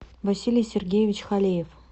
василий сергеевич халеев